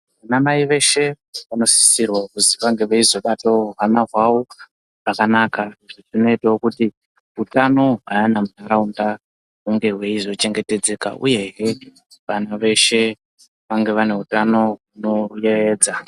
Ana mai veshe vanosisirwa kuzi vange veizobatawo hwana hwavo zvakanaka. Zvinoitawo kuti utano hweana munharaunda hunge hweizochebgetedzeka uyezve vanthu veshe vange vane utano hunoyeedza.